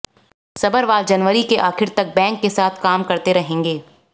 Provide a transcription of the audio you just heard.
सभरवाल जनवरी के आखिर तक बैंक के साथ काम करते रहेंगे